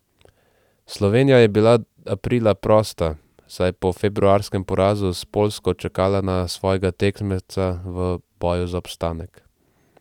Slovenija je bila aprila prosta, saj je po februarskem porazu s Poljsko čakala na svojega tekmeca v boju za obstanek.